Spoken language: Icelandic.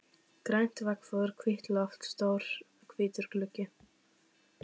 Grænt veggfóður, hvítt loft, stór hvítur gluggi.